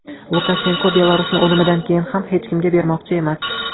Lukashenko Belarusni o‘limidan keyin ham hech kimga bermoqchi emas.